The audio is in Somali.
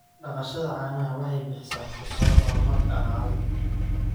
Dhaqashada caanaha waxay bixisaa fursado horumar dhaqaale.